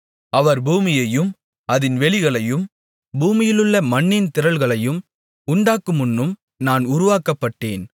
அவர் பூமியையும் அதின் வெளிகளையும் பூமியிலுள்ள மண்ணின் திரள்களையும் உண்டாக்குமுன்னும் நான் உருவாக்கப்பட்டேன்